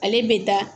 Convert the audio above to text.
Ale bɛ taa